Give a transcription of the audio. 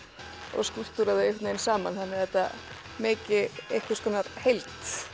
og skúlptúra þau einhvern veginn saman þannig að þetta meiki einhvers konar heild